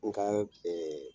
N ka ɛɛ